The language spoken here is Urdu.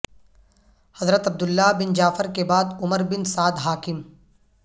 حضرت عبداللہ بن جعفر کے بعد عمر بن سعد حاکم